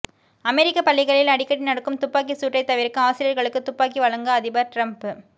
அமெரிக்க பள்ளிகளில் அடிக்கடி நடக்கும் துப்பாக்கிச் சூட்டை தவிர்க்க ஆசிரியர்களுக்கு துப்பாக்கி வழங்க அதிபர் ட்ரம்ப்